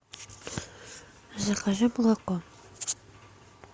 закажи молоко